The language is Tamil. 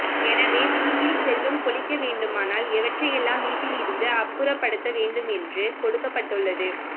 எனவே வீட்டில் செல்வம் கொழிக்க வேண்டுமானால் எவற்றையெல்லாம் வீட்டில் இருந்து அப்புறப்படுத்த வேண்டும் என்று கொடுக்கப்பட்டுள்ளது